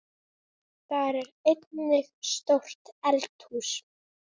Þar er einnig stórt eldhús.